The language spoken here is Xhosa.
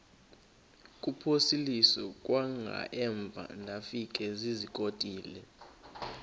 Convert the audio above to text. kuphosiliso kwangaemva ndafikezizikotile